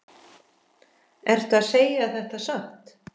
Ertu að segja þetta satt?